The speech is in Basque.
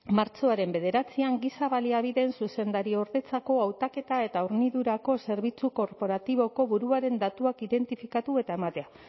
martxoaren bederatzian giza baliabideen zuzendariordetzako hautaketa eta hornidurako zerbitzu korporatiboko buruaren datuak identifikatu eta ematea